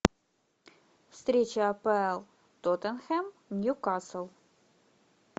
встреча апл тоттенхэм ньюкасл